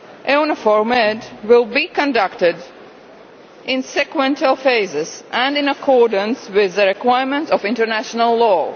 EUNAVFOR Med will be conducted in sequential phases and in accordance with the requirements of international law.